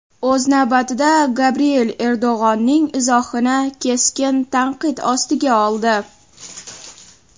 O‘z navbatida, Gabriel Erdo‘g‘onning izohini keskin tanqid ostiga oldi.